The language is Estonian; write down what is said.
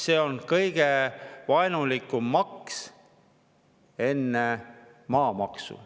See on kõige vaenulikum maks peale maamaksu.